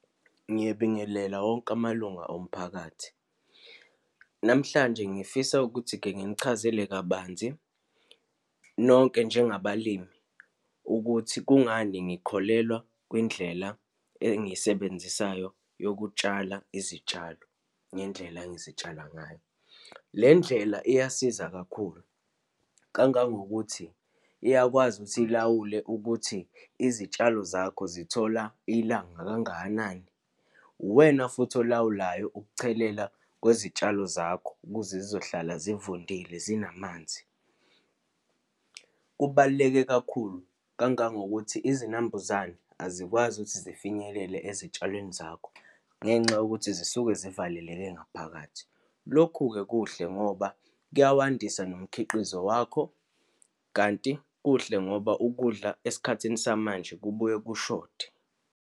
Ngiyabingelela wonke amalunga omphakathi. Namhlanje, ngifisa ukuthi-ke nginichazele kabanzi nonke njengabalimi ukuthi kungani ngikholelwa kwindlela engiyisebenzisayo yokutshala izitshalo, ngendlela engizitshala ngayo. Le ndlela iyasiza kakhulu, kangangokuthi iyakwazi ukuthi ilawule ukuthi izitshalo zakho zithola ilanga kangakanani, uwena futhi olawulayo ukuchelela kwezitshalo zakho ukuze zizohlala zivundile, zinamanzi. Kubaluleke kakhulu, kangangokuthi izinambuzane azikwazi ukuthi zifinyelele ezitshalweni zakho, ngenxa yokuthi zisuke zivaleleke ngaphakathi. Lokhu-ke kuhle ngoba kuyawandisa nomkhiqizo wakho, kanti kuhle ngoba ukudla esikhathini samanje kubuye kushode.